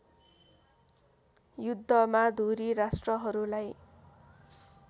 युद्धमा धुरी राष्ट्रहरूलाई